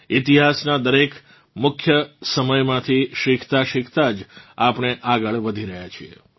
ઇતિહાસનાં દરેક મુખ્ય સમયમાંથી શીખતાંશીખતાં જ આપણે આગળ વધી રહ્યાં છીએ